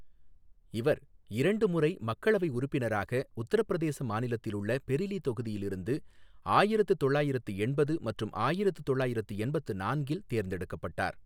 இவா் இரண்டு முறை மக்களவை உறுப்பினராக உத்தரப் பிரதேச மாநிலத்திலுள்ள பொிலி தொகுதியிலிருந்து ஆயிரத்து தொள்ளாயிரத்து எண்பது மற்றும் ஆயிரத்து தொள்ளாயிரத்து எண்பத்து நான்கில் தேர்ந்தெடுக்கப்பட்டாா்.